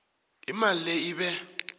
imali le ibe